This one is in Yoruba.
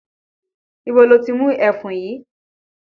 Ibo lo ti mú ẹfun yìí?